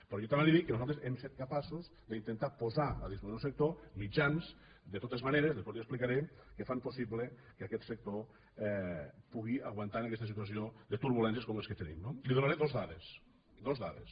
però jo també li dic que nosaltres hem set capaços d’intentar posar a disposició del sector mitjans de totes maneres després li ho explicaré que fan possible que aquest sector pugui aguantar en aquesta situació de turbulències com les que tenim no li donaré dos dades dos dades